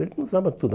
Ele nos dava tudo.